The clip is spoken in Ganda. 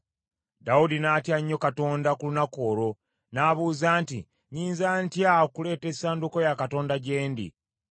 Dawudi n’atya nnyo Katonda ku lunaku olwo, n’abuuza nti, “Nnyinza ntya okuleeta essanduuko ya Katonda gye ndi?”